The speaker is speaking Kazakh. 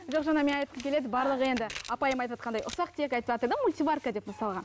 жоқ жаңа мен айтқым келеді барлығы енді апайым айтыватқандай ұсақ түйек айтыватыр да мультиварка деп мысалға